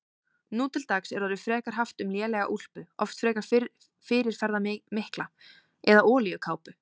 Nú til dags er orðið frekar haft um lélega úlpu, oft frekar fyrirferðarmikla, eða olíukápu.